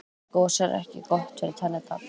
gos er ekki gott fyrir tennurnar